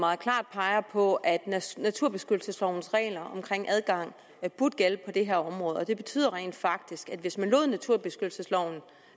meget klart peger på at naturbeskyttelseslovens regler om adgang burde gælde på det her område det betyder rent faktisk at hvis man lod naturbeskyttelsesloven